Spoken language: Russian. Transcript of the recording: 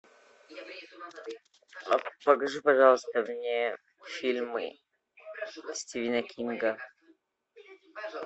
покажи пожалуйста мне фильмы стивена кинга